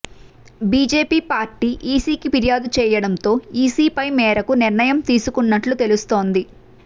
BJP party EC కి ఫిర్యాదు చేయడం తో ఈసీ పై మేరకు నిర్ణయం తీసుకున్నట్లు తెలుస్తుంది